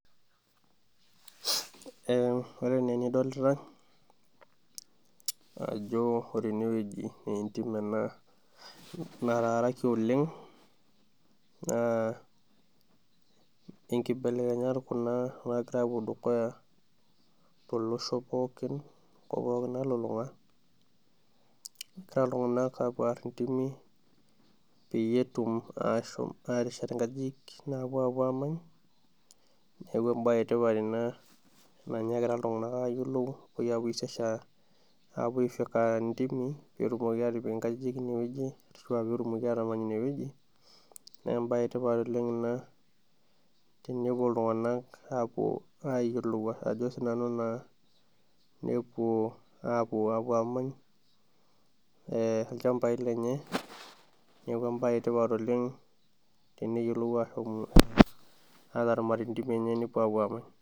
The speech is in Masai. Ore enaa enidolita ajo ore enewueji naa entim ena nataaraki oleng naa enkibelekenyat naagira apuo dukuya tolosho olulung'a peeyie etum aashom ateshet inkajijing naapuo amany neeku embaye etipat nagira iltung'anak ayiolou peetumoki atipik inkajining ine wueji naa embaye etipat ina tenepuo iltung'anak apuo ayiolou ajo sii nanu naa nepuo amany eee ilchambai lenye neeeku embaye etipat oleng tenepuo aramat ilchambai lelnye nepuo amany